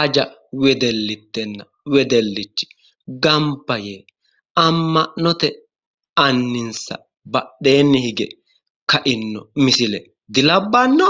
aja wedellitenna wedellichi gamba yee amma'note anninsa badheenni hige kainno misile dilabbanno?